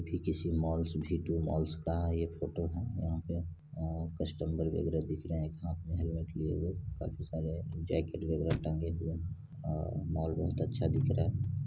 ये किसी mall V two malls का ये फोटो है यहां पे कस्टमर वगैरा दिख रहे हैं एक हाथ में हेलमेट लिए हुए काफी सारे जैकेट वगैरा टंगे हुए है अ मॉल बहुत अच्छा दिख रहा है।